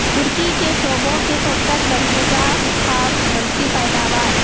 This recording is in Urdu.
ترکی کے صوبوں کی فہرست بلحاظ خام ملکی پیداوار